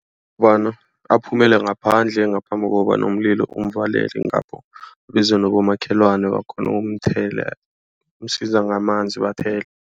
Kobana aphumele ngaphandle ngaphambi kobana umlilo umuvalele ngapho. Abizwa nabomakhelwane bakghone ukumthela msiza ngamanzi bathele.